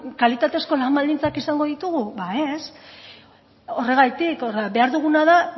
kalitatezko lan baldintzak izango ditugu ba ez horregatik behar duguna da